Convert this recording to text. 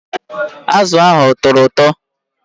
Azụ ahụ a tọrọ ụtọ?